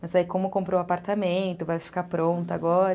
Mas aí, como comprou o apartamento, vai ficar pronta agora.